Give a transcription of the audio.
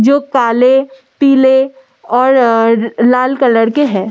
जो काले पीले और लाल कलर के हैं।